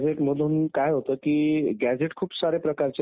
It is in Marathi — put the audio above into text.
हो मला निवडणूक प्रक्रियेबद्दल माहिती पाहिजे